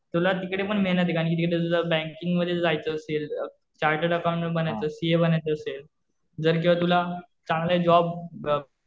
तुला तिकडे पण मेहनत आहेत. कारण कि तिकडे तुझं बँकिंग मध्ये जर जायचं असेल चारटेड अकाउंटंट बनायचं सीए बनायचं असेल. जर किंवा तुला चांगला जॉब